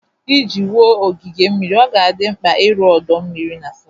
Iji wuo ogige mmiri, ọ ga-adị mkpa ịrụ ọdọ mmiri na slides